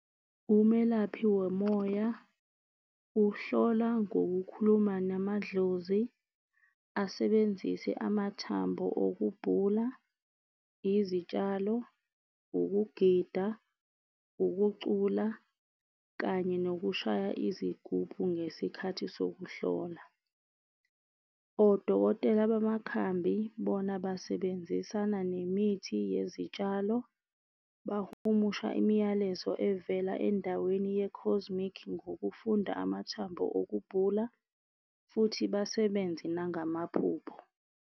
Umelaphi womoya uhlola ngokukhuluma namadlozi asebenzise amathambo okubhula, izitshalo, ukugida, ukucula kanye nokushaya izigubhu ngesikhathi sokuhlola. Odokotela bamakhambi bona basebenzisana nemithi yezitshalo, bahumusha imiyalezo evela endaweni ye-cosmic ngokufunda amathambo okubhula futhi basebenze nangamaphupho.